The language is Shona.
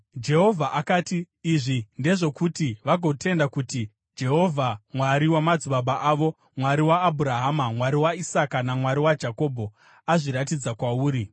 Jehovha akati, “Izvi ndezvokuti vagotenda kuti Jehovha, Mwari wamadzibaba avo, Mwari waAbhurahama, Mwari waIsaka, naMwari waJakobho, azviratidza kwauri.”